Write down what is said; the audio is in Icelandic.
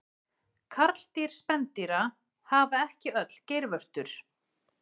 karldýr spendýra hafa ekki öll geirvörtur